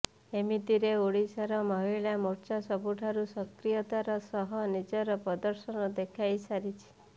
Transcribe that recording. ଏମିତିରେ ଓଡ଼ିଶାରେ ମହିଳା ମୋର୍ଚ୍ଚା ସବୁଠାରୁ ସକ୍ରିୟତାର ସହ ନିଜର ପ୍ରଦର୍ଶନ ଦେଖାଇସାରିଛି